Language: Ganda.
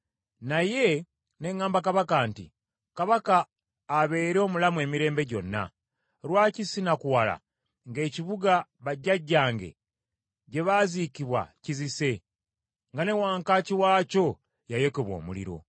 naye ne ŋŋamba kabaka nti, “Kabaka abeere omulamu emirembe gyonna. Lwaki sinakuwala ng’ekibuga bajjajjange gye baaziikibwa kizise, nga ne wankaaki waakyo yayokebwa omuliro?”